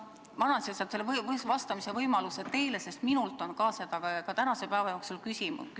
Ma annan lihtsalt selle vastamise võimaluse teile, sest ka minult on seda tänase päeva jooksul küsitud.